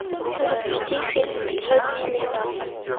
запусти фильм пятьсот дней лета